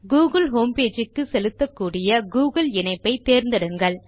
Google homepage க்கு செலுத்தக்கூடிய Google இணைப்பை தேர்ந்தெடுங்கள்